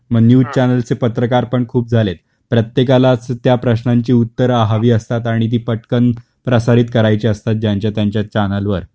मग news channel चे पत्रकार पण खूप झालेत. प्रत्येकालाच त्या प्रश्नांची उत्तर हवी असतात आणि ती पटकन प्रसारित करायचे असतात ज्यांच्या त्यांच्या चॅनल वर.